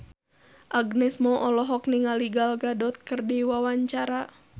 Agnes Mo olohok ningali Gal Gadot keur diwawancara